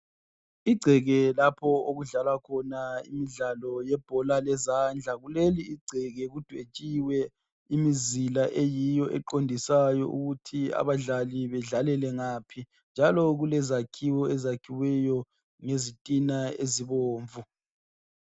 igceke lapho okudlalwa khona ibhola lezandla kuleli igceke kudwetshiwe imizila eyiyo eqondisayo ukuthi abadlali bedlalele ngaphi njalo kulezakhiwo ezakhiweyo ngezitina ezibomvu